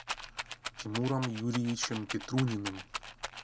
тимуром юрьевичем петруниным